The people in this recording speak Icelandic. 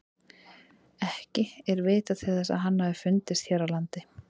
Ekki er vitað til þess að hann hafi fundist hér á landi.